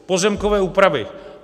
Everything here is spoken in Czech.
Pozemkové úpravy.